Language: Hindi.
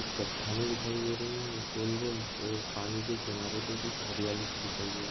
चट्टानें दिखाई दे रही है गोल गोल और पानी के किनारे पर कुछ हरियाली दिखाई दे रही।